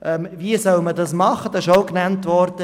Wie soll man nun vorgehen?